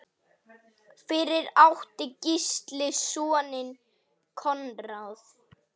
Fyrir átti Gísli soninn Konráð.